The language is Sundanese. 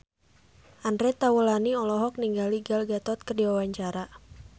Andre Taulany olohok ningali Gal Gadot keur diwawancara